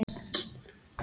Það er næsta víst.